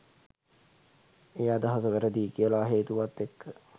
ඒ අදහස වැරදියි කියල හේතුවත් එක්ක.